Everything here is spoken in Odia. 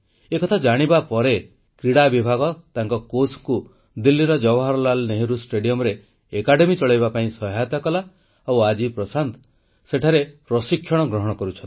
ଏକଥା ଜାଣିବା ପରେ କ୍ରୀଡ଼ା ବିଭାଗ ତାଙ୍କ କୋଚଙ୍କୁ ଦିଲ୍ଲୀର ଜବାହରଲାଲ ନେହେରୁ ଷ୍ଟାଡିୟମରେ ଏକାଡେମୀ ଚଳାଇବା ପାଇଁ ସହାୟତା କଲା ଆଉ ଆଜି ପ୍ରଶାନ୍ତ ସେଠାରେ ପ୍ରଶିକ୍ଷଣ ଗ୍ରହଣ କରୁଛନ୍ତି